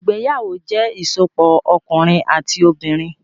Ìgbéyàwó jẹ ìsopọ̀ ọkunrin ati obinrin.